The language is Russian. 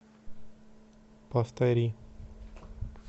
повтори